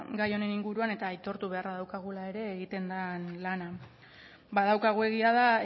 gai honen inguruan eta aitortu beharra daukagula ere egiten den lana badaukagu egia da